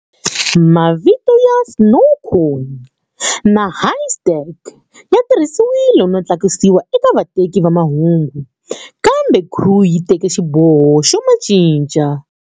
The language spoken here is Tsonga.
Mavito ya"Snowcone" na"Haystack" ya tirhisiwile no tlakusiwa eka vateki va mahungu, kambe Crew yi teke xiboho xo ma cinca.